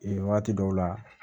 Ee wagati dɔw la